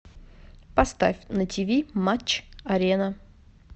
поставь на ти ви матч арена